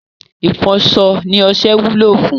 Ìfọṣọ ni ọṣẹ wúlò fún